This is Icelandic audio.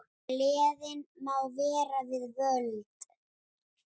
Gleðin má vera við völd.